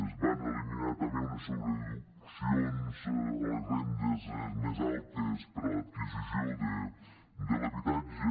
es van elimi·nar també unes deduccions a les rendes més altes per a l’adquisició de l’habitat·ge